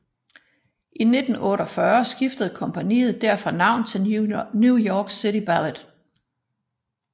I 1948 skiftede kompagniet derfor navn til New York City Ballet